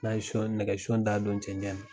N'a ye son nɛgɛson da don cɛncɛn na.